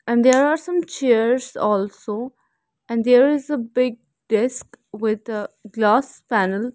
and there are some chairs also and there is a big desk with a glass panel.